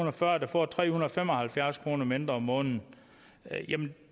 og fyrre der får tre hundrede og fem og halvfjerds kroner mindre om måneden jamen